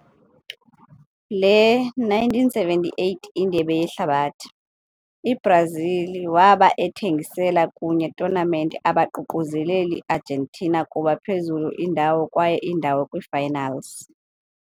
le - 1978 Indebe Yehlabathi, i-Brazil waba ethengisela kunye tournament abaququzeleli Argentina kuba phezulu ndawo kwaye indawo kwi-finals.